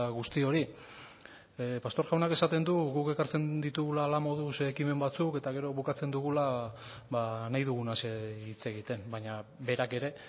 guzti hori pastor jaunak esaten du guk ekartzen ditugula hala moduz ekimen batzuk eta gero bukatzen dugula nahi dugunaz hitz egiten baina berak ere